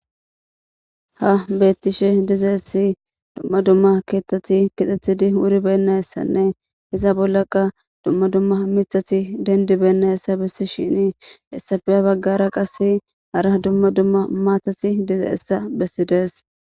ha beettishe diza essi dumma dumma keettathi kixethidi wuri bennayessanne iza bollaqa dumma dumma mitathi dendi bennayessa bissi shini essafiya baggara qase ara dumma dumma maatati diza essa bessidees